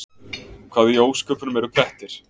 Hvað í ósköpunum eru prettir?